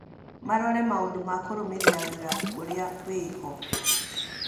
Marorore maũndũ ma kũrũmĩrĩra wĩira urĩa wĩho.